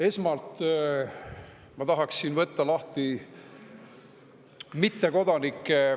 Esmalt ma tahan võtta lahti mittekodanike …